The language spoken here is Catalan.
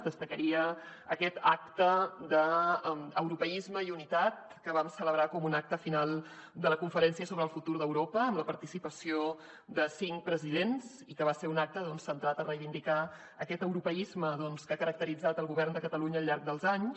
destacaria aquest acte d’europeisme i unitat que vam celebrar com un acte final de la conferència sobre el futur d’europa amb la participació de cinc presidents i que va ser un acte centrat a reivindicar aquest europeisme que ha caracteritzat el govern de catalunya al llarg dels anys